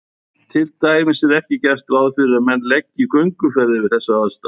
Til dæmis er ekki gert ráð fyrir að menn leggi í gönguferðir við þessar aðstæður.